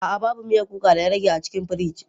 A'a, babu miyan kuka da ya rage a cikin firij.